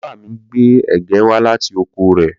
Bàbá mi gbé ẹ̀gẹ́ wá láti oko rẹ̀.